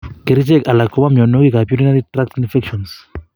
Kerichek alak kobo myonwokik ab urinary tract infections